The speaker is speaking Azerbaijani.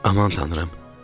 Aman Tanrım.